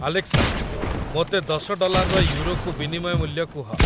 Alexa, ମୋତେ ଦଶ ଡଲାରର ୟୁରୋକୁ ବିନିମୟ ମୂଲ୍ୟ କୁହ